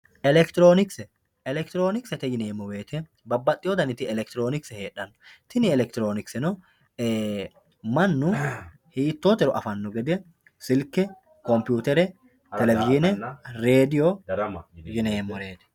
elekitiroonikise elekitiroonikisete yineemo woyiite babbaxiyo daniti elekitiroonikise hedhanno tini elekitiroonikiseno mannu hiitotero afanno gede silke, komputer, televishiine, rediyoo yineemoreeti.